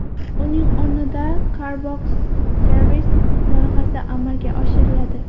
Uning o‘rnida Car Box Service loyihasi amalga oshiriladi.